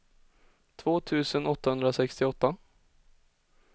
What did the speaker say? två tusen åttahundrasextioåtta